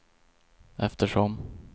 eftersom